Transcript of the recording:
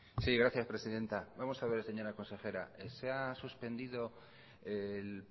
sí gracias presidenta vamos a ver señora consejera se ha suspendido el